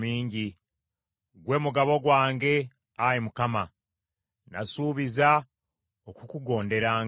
Ggwe mugabo gwange, Ayi Mukama ; nasuubiza okukugonderanga.